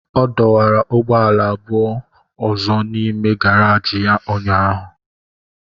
Ọ dọwara ụgbọala abụọ ọzọ n'ime gàráji ya ụnyahụ